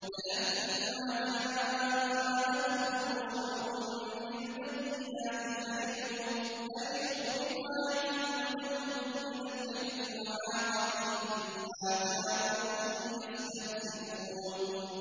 فَلَمَّا جَاءَتْهُمْ رُسُلُهُم بِالْبَيِّنَاتِ فَرِحُوا بِمَا عِندَهُم مِّنَ الْعِلْمِ وَحَاقَ بِهِم مَّا كَانُوا بِهِ يَسْتَهْزِئُونَ